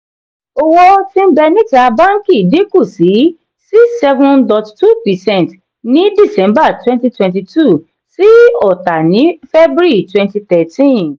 owó ti n be níta bánkì dinku sí six seven point two percent ní december twenty twenty two sí ọ̀tà ní february twenty thirteen.